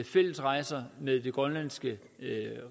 fælles rejser med den grønlandske